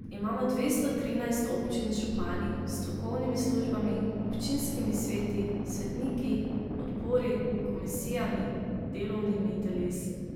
Imamo dvesto trinajst občin z župani, strokovnimi službami, občinskimi sveti, svetniki, odbori, komisijami, delovnimi telesi.